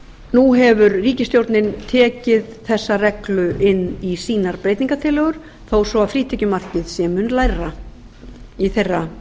nú hefur ríkisstjórnin tekið þessa reglu inn í sínar breytingartillögur þó svo að frítekjumarkið sé mun lægra í þeirra